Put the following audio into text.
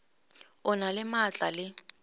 o na le maatla le